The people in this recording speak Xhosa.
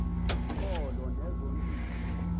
ngqolo nezo ntili